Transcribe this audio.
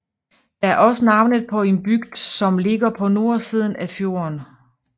Det er også navnet på en bygd som ligger på nordsiden af fjorden